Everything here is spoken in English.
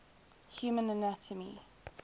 human anatomy